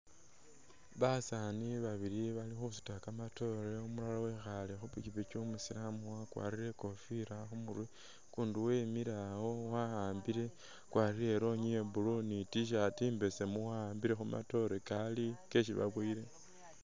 Basaani babili bali khusuuta kamatoore umulala wekhale khupikipiki umusilamu wakwalire ikofila khumurwe ukundi wemile awo wawambile wakwalire i'lonyi ya blue ni t-shirt imbesemu wawambile khumatoore kali keshibaboowele